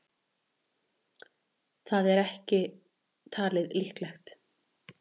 Það er ekki talið líklegt.